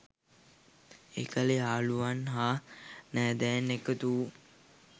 එකල යහළුවන් හා නැදැයන් එකතු වූ